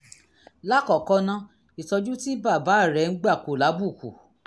lákọ̀ọ́kọ́ ná ìtọ́jú tí bàbá rẹ ń gbà kò lábùkù